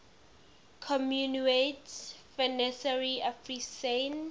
communaute financiere africaine